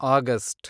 August